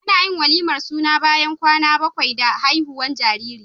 Anayin walimar suna bayan kwana bakwai da haihuwar jariri